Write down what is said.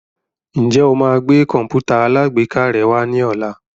Ǹjẹ́ o máa gbé Kọ̀m̀pútà alágbèéká rẹ wá ní ọ̀la?